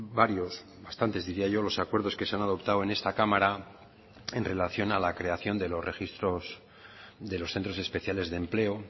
varios bastantes diría yo los acuerdos que se han adoptado en esta cámara en relación a la creación de los registros de los centros especiales de empleo